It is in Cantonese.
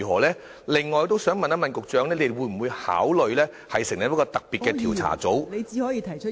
此外，我想問局長會否考慮成立一個特別調查組......